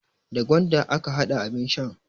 Da gwanda aka hada abin shan.